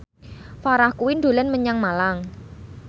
Farah Quinn dolan menyang Malang